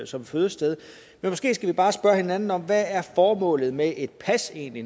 som fødested men måske skal vi bare spørge hinanden om hvad formålet med et pas egentlig